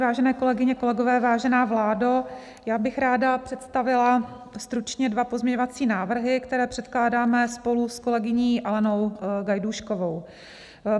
Vážené kolegyně, kolegové, vážená vládo, já bych ráda představila stručně dva pozměňovací návrhy, které předkládáme spolu s kolegyní Alenou Gajdůškovou.